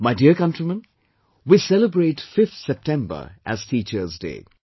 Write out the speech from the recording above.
My dear countrymen, we celebrate 5th September as Teacher's Day